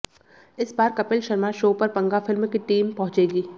इस बार कपिल शर्मा शो पर पंगा फिल्म की टीम पहुंचेगी